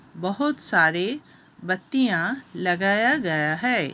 बहोत सारे बत्तियां लगाया गया है।